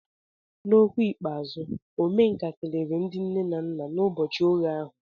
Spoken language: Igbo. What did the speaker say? N'okwu ikpeazụ, Omenka kelere ndị nne na nna n'ụbọchị oghe ha.